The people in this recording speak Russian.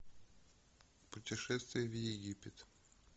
путешествие в египет